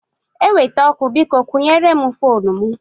Eweta ọkụ, biko kwụnyere m foonu m.